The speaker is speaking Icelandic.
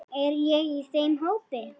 Er ég í þeim hópi.